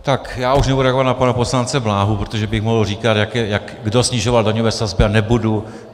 Tak já už nebudu reagovat na pana poslance Bláhu, protože bych mohl říkat, kdo snižoval daňové sazby, ale nebudu.